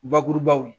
Bakurubaw